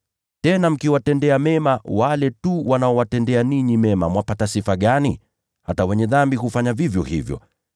Tena mkiwatendea mema wale tu wanaowatendea ninyi mema, mwapata sifa gani? Hata ‘wenye dhambi’ hufanya vivyo hivyo.